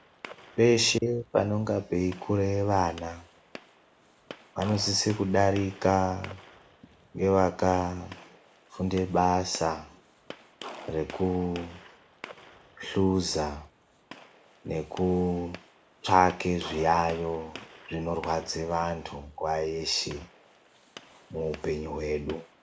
Peshe panenge peikura vana panosise kudarika nevakafunda basa rekuhluza nekutsvake zviyayo zvinorwadza vandu nguva yeshe muhupenyu wedu.